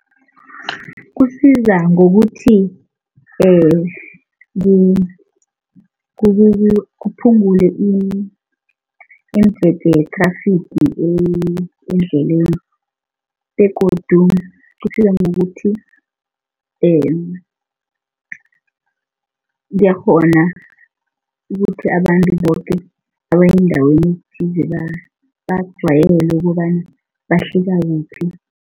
Kusiza ngokuthi kuphungule ye-traffic endleleni begodu kusiza ngokuthi ngiyakghona ukuthi abantu boke abaya endaweni ethize bajwayele ukobana bahlika kuphi.